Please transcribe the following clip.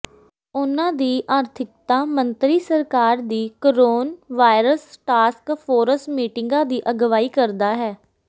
ਉਨ੍ਹਾਂ ਦੀ ਆਰਥਿਕਤਾ ਮੰਤਰੀ ਸਰਕਾਰ ਦੀ ਕੋਰੋਨਵਾਇਰਸ ਟਾਸਕ ਫੋਰਸ ਮੀਟਿੰਗਾਂ ਦੀ ਅਗਵਾਈ ਕਰਦਾ ਹੈ